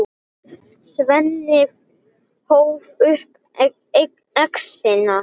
Svenni hóf upp exina.